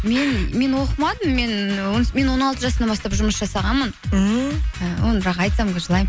мен оқымадым і мен он алты жасымнан бастап жұмыс жасағанмын ммм і оны бірақ айтсам қазір